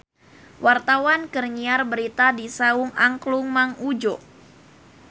Wartawan keur nyiar berita di Saung Angklung Mang Udjo